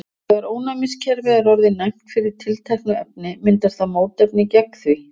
Þegar ónæmiskerfið er orðið næmt fyrir tilteknu efni myndar það mótefni gegn því.